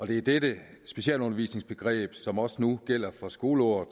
det er dette specialundervisningsbegreb som også nu gælder for skoleåret